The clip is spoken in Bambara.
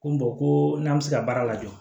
Ko ko n'an bɛ se ka baara lajɔ